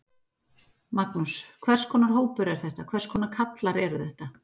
Magnús: Hvers konar hópur er þetta, hvers konar kallar eru þetta?